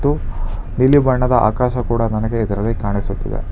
ನೀಲಿ ಬಣ್ಣದ ಆಕಾಶ ಕೂಡ ನನಗೆ ಇದರಲ್ಲಿ ಕಾಣಿಸುತ್ತಿದೆ.